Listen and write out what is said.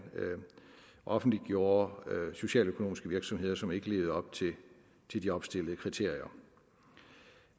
offentliggjorde socialøkonomiske virksomheder som ikke lever op til de opstillede kriterier